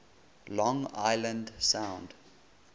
long island sound